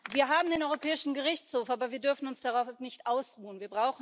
Wir haben den Europäischen Gerichtshof, aber wir dürfen uns darauf nicht ausruhen.